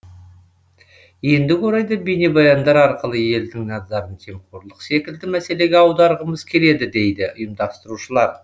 ендігі орайда бейнебаяндар арқылы елдің назарын жемқорлық секілді мәселеге аударғымыз келеді дейді ұйымдастырушылар